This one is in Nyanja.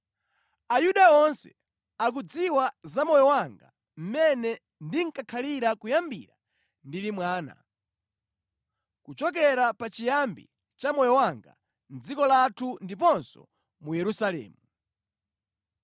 “Ayuda onse akudziwa za moyo wanga mmene ndakhalira kuyambira ndili mwana, kuchokera pachiyambi cha moyo wanga mʼdziko lathu ndiponso mu Yerusalemu.